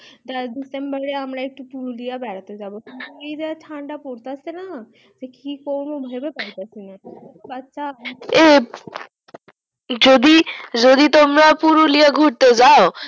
দেখ december এ আমরা একটু পুরুলিয়া বেড়াতে যাবো আইজ ঠান্ডা পরতাসেনা কি করবো ভেবে পাইতাসিনা যদি তোমরা পুরুলিয়া গুরতে যাও